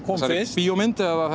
þessari bíómynd eða